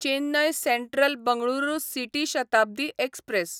Chennai central Bengaluru city Shatabdi express